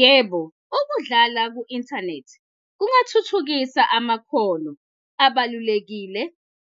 Yebo, ukudlala ku-inthanethi kungathuthukisa amakhono abalulekile